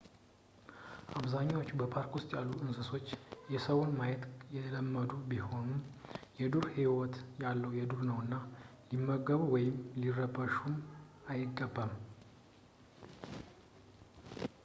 አብዛኞቹ ፓርክ ውስጥ ያሉት እንስሦች ሰዎችን ማየት የለመዱ ቢሆኑም የዱር ህይወት ያው የዱር ነውና ሊመገቡም ወይም ሊረበሹም አይገባም